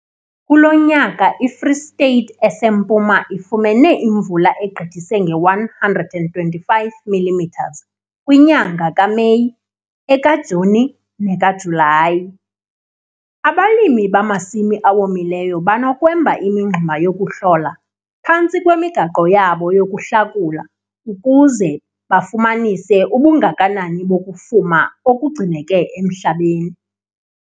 Kulo nyaka iFree State eseMpuma ifumene imvula egqithise nge-125 mm kwinyanga kaMeyi, ekaJuni nekaJulayi. Abalimi bamasimi awomileyo banokwemba imingxuma yokuhlola, phantsi kwemigaqo yabo yokuhlakula, ukuze bafumanise ubungakanani bokufuma okugcineke emhlabeni.